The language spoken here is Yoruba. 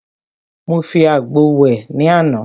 Mo fi àgbo wẹ̀ ní àná.